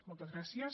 moltes gràcies